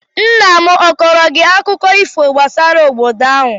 Nna m akọọrọ gị akụkọ ifo gbasara obodo ahụ?